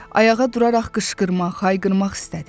Ayağa duraraq qışqırmaq, hayqırmaq istədi.